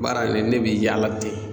Baara in ne be yaala ten.